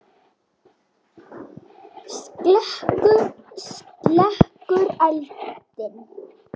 Slekkur eldinn.